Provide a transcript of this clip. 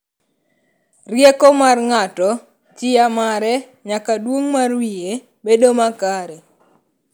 Rieko mar ng'ato, chia mare nyaka duong' mar wiye bedo makare.